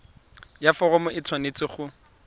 ya foromo e tshwanetse go